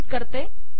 संकलित करते